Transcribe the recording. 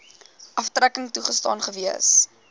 aftrekking toegestaan gewees